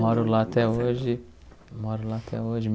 Moro lá até hoje, moro lá até hoje.